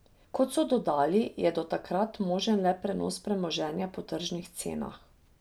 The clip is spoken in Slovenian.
Kot so dodali, je do takrat možen le prenos premoženja po tržnih cenah.